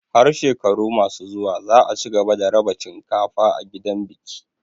Har shekaru masu zuwa za a cigaba da raba cinkafa a gidan biki.